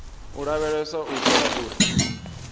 u lavheleswa u itela uri